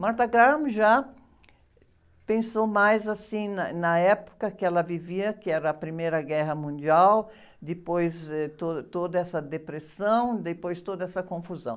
Martha Graham, já pensou mais, assim, na, na época que ela vivia, que era a Primeira Guerra Mundial, depois, eh, toda essa depressão, depois toda essa confusão.